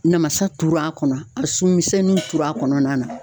Namasa tur'a kɔnɔ, a sun misɛnnin turu a kɔnɔna na.